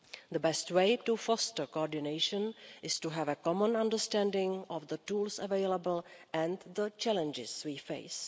The best way to foster coordination is to have a common understanding of the tools available and the challenges we face.